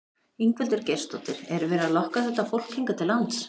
Ingveldur Geirsdóttir: Er verið að lokka þetta fólk hingað til lands?